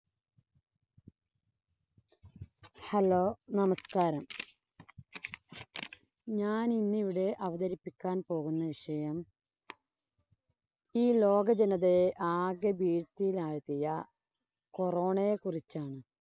Hello, നമസ്കാരം. ഞാനിന്നിവിടെ അവതരിപ്പിക്കാൻ പോകുന്ന വിഷയം ഈ ലോകജനതയെ ആകെ ഭീതിയിലാഴ്ത്തിയ Corona യെ കുറിച്ചാണ്.